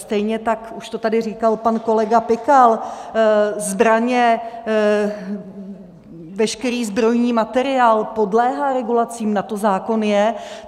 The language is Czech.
Stejně tak už to tady říkal pak kolega Pikal - zbraně, veškerý zbrojní materiál podléhá regulacím, na to zákon je.